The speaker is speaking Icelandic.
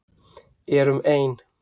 Erum ein.